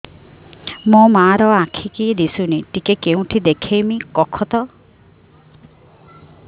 ମୋ ମା ର ଆଖି କି ଦିସୁନି ଟିକେ କେଉଁଠି ଦେଖେଇମି କଖତ